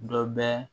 Dɔ bɛ